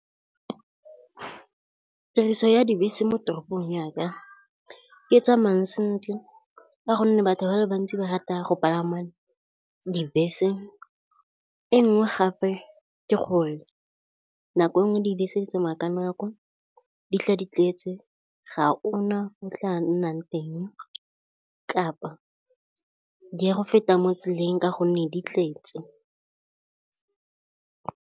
Tiriso ya dibese mo toropong yaka e tsamayang sentle ka gonne batho ba le bantsi ba rata go palama dibese. E nngwe gape ke gore nako nngwe dibese di tsamaya ka nako, di tla di tletse, ga ona mo o tla nnang teng kapa di ya go feta mo tseleng ka gonne di tletse.